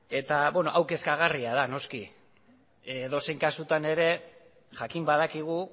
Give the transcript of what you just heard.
eta beno hau kezkagarria da noski edozein kasutan ere jakin badakigu